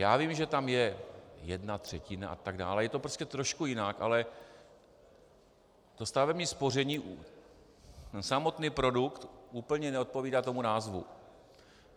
Já vím, že tam je jedna třetina a tak dále, je to prostě trošku jinak, ale to stavební spoření, ten samotný produkt úplně neodpovídá tomu názvu.